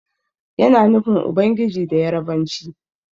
Yana nufin Ubangiji da Yarabanci.